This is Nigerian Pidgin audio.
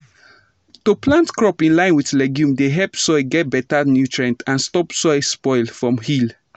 to plant crop in line with legume dey help soil get better nutrient and stop soil spoil for hill.